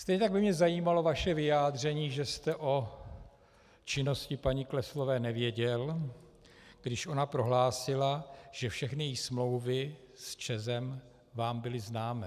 Stejně tak by mě zajímalo vaše vyjádření, že jste o činnosti paní Kleslové nevěděl, když ona prohlásila, že všechny její smlouvy s ČEZem vám byly známy.